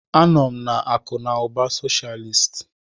Anọ m na akụ na ụba socialist.